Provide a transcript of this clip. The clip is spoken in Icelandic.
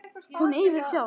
Hún yrði frjáls.